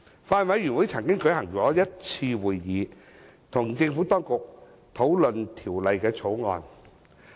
法案委員會曾舉行1次會議，與政府當局討論《條例草案》。